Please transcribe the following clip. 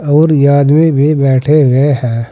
और ये आदमी भी बैठे हुए हैं।